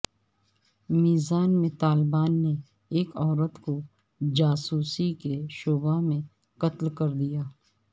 میزان میں طالبان نے ایک عورت کو جاسوسی کے شبہ میں قتل کر دیا ہے